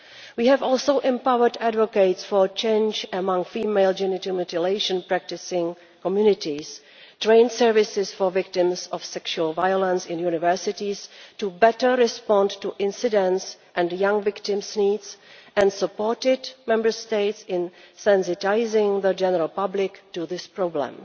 We have also empowered advocates for change among female genital mutilation practising communities, trained services for victims of sexual violence in universities to better respond to incidents and young victims' needs, and supported Member States in sensitising the general public to this problem.